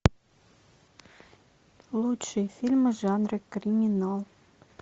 лучшие фильмы жанра криминал